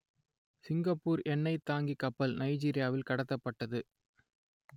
Singapore எண்ணெய்த் தாங்கிக் கப்பல் நைஜீரியாவில் கடத்தப்பட்டது